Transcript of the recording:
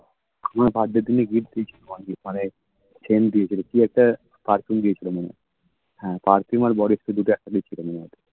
আমার birthday র দিনে gift দিয়েছিল মানে scent দিয়েছিল কি একটা perfume দিয়েছিল মনে হয় হ্যাঁ perfume আর body spray দুটোর একটা দিয়েছিল মনে হয়